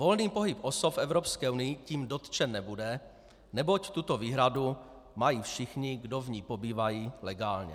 Volný pohyb osob v Evropské unii tím dotčen nebude, neboť tuto výhradu mají všichni, kdo v ní pobývají legálně.